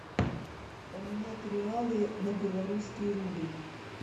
поменять реалы на белорусский рубль